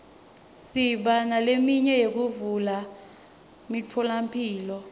siba neleminye yekuvulwa kwemitfolamphilo